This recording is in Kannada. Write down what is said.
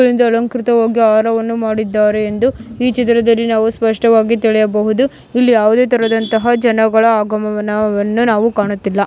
ಹೂವಿಂದ ಅಲಂಕೃತವಾಗಿ ಹಾರವನ್ನು ಮಾಡಿದ್ದಾರೆ ಎಂದು ಈ ಚಿತ್ರದಲ್ಲಿ ನಾವು ಸ್ಪಷ್ಟವಾಗಿ ತಿಳಿಯಬಹುದು ಇಲ್ಲಿ ಯಾವುದೆ ತರದಂತಹ ಜನಗಳ ಆಗಮನವನ್ನು ನಾವು ಕಾಣುತ್ತಿಲ್ಲ.